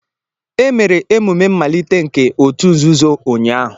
E mere emume mmalite nke òtù nzuzo ụnyahụ